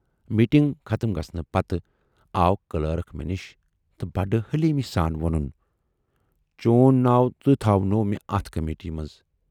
Meeting ختم گژھنہٕ پتہٕ آو کلٲرٕک مےٚ نِش تہٕ بڈٕ حلیٖمی سان وونُن، چون ناو تہِ تھاونوو مےٚ اتھ کمیٹی منز۔